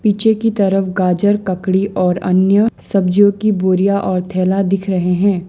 पीछे की तरफ गाजर ककड़ी और अन्य सब्जियों की बोरियां और थैला दिख रहे हैं।